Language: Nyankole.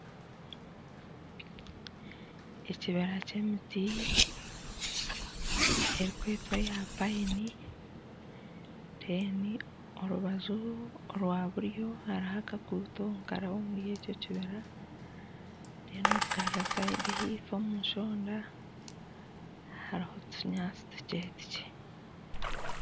Ekibira ky'emiti erikwetwa eya payini deni orubanju orwa buryo hariho akakuutu nikaraba omuri ekyo kibira deni okugarura sayidi ahaifo omushonda hariho otunyaatsi tukye tukye.